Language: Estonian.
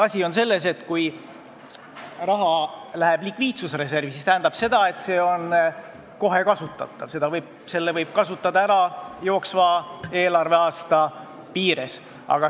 Asi on selles, et kui raha läheb likviidsusreservi, siis see tähendab, et see on kohe kasutatav – selle võib jooksva eelarveaasta piires ära kasutada.